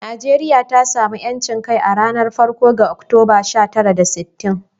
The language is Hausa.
Najeriya ta sami 'yancin kai a ranar farko ga Oktoba, sha tara da sittin.